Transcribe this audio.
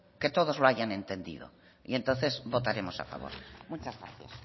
que todos lo hayan entendido y entonces votaremos a favor muchas gracias